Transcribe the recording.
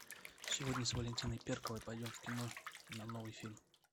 сегодня с валентиной перковой пойдем в кино на новый фильм